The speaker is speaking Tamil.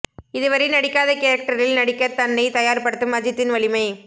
இது வரை நடிக்காத கேரக்டரில் நடிக்க தன்னை தயார் படுத்தும் அஜித்தின் வலிமை